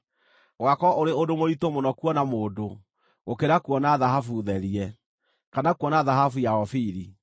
Ũgaakorwo ũrĩ ũndũ mũritũ mũno kuona mũndũ, gũkĩra kuona thahabu therie, kana kuona thahabu ya ofiri.